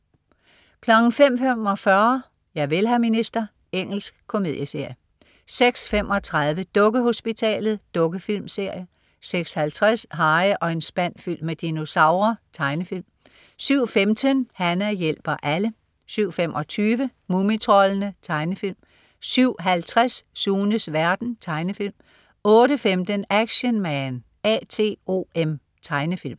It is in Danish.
05.45 Javel, hr. minister. Engelsk komedieserie 06.35 Dukkehospitalet. Dukkefilmserie 06.50 Harry og en spand fyldt med dinosaurer. Tegnefilm 07.15 Hana hjælper alle 07.25 Mumitroldene. Tegnefilm 07.50 Sunes verden. Tegnefilm 08.15 Action Man A.T.O.M. Tegnefilm